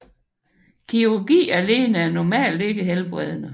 Kirurgi alene er normalt ikke helbredende